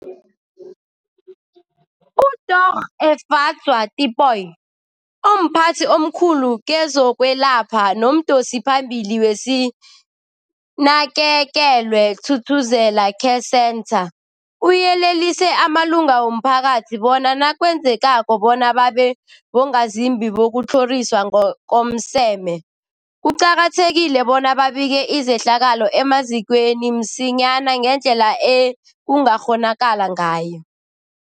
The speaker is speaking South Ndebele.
UDorh Efadzwa Tipoy, omphathi omkhulu kezokwelapha nomdosiphambili weSinakekelwe Thuthuzela Care Centre, uyelelise amalunga womphakathi bona nakwenzekako bona babe bongazimbi bokutlhoriswa ngokomseme, kuqakathekile bona babike izehlakalo emazikweni msinyana ngendlela ekungakghonakala ngayo.